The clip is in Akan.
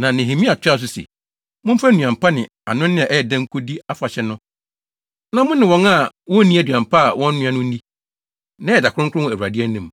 Na Nehemia toaa so sɛ, “Momfa nnuan pa ne anonne a ɛyɛ dɛ nkodi afahyɛ no na mo ne wɔn a wonni nnuan pa a wɔanoa no nnidi. Nnɛ yɛ da kronkron wɔ Awurade anim.